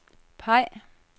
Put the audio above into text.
peg